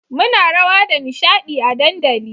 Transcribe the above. muna rawa da nishadi a dandali